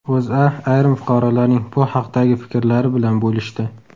O‘zA ayrim fuqarolarning bu haqdagi fikrlari bilan bo‘lishdi .